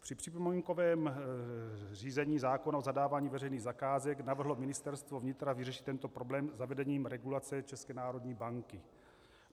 Při připomínkovém řízení zákona o zadávání veřejných zakázek navrhlo Ministerstvo vnitra vyřešit tento problém zavedením regulace České národní banky.